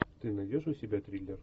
ты найдешь у себя триллер